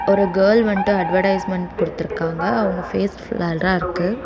ஒரு girl wanted advertisement குடுத்துருக்காங்க அவங்க ஃபேஸ் பிளர்ரா இருக்கு.